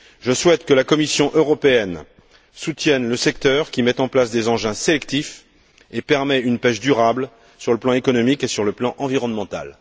Je souhaite que la Commission européenne soutienne le secteur qui met en place des engins sélectifs et permet une pêche durable sur le plan économique et sur le plan environnemental.